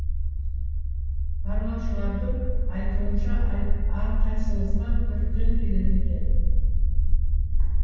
барлаушылардың айтуынша әрқайсымызға төрттен келеді екен